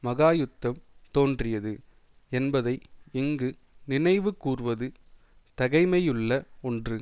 மகாயுத்தம் தோன்றியது என்பதை இங்கு நினைவு கூர்வது தகைமையுள்ள ஒன்று